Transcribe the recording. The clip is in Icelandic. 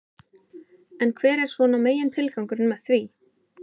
En hver er svona megin tilgangurinn með því?